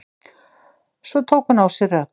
Svo tók hún á sig rögg.